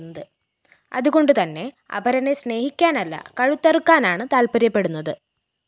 അതുകൊണ്ടു തന്നെ അപരനെ സ്‌നേഹിക്കാനല്ല കഴുത്തറക്കാനാണ് താല്‍പ്പര്യപ്പെടുന്നത്